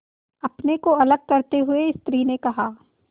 अपने को अलग करते हुए स्त्री ने कहा